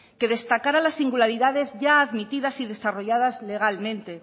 que destacara las singularidades ya admitidas y desarrolladas legalmente